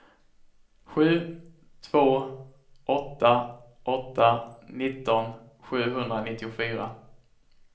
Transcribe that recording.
sju två åtta åtta nitton sjuhundranittiofyra